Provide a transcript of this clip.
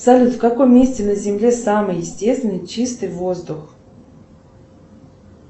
салют в каком месте на земле самый естественный чистый воздух